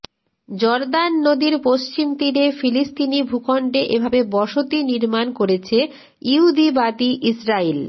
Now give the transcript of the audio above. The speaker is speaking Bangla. জর্দান নদীর পশ্চিম তীরে ফিলিস্তিনি ভূখণ্ডে এভাবে বসতি নির্মাণ করেছে ইহুদিবাদী ইসরাইল